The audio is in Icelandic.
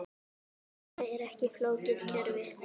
Þetta er ekki flókið kerfi.